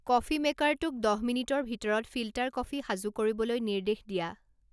coffee মেকাৰটোক দহ মিনিটৰ ভিতৰত ফিল্টাৰ কফি সাজু কৰিবলৈ নিৰ্দেশ দিয়া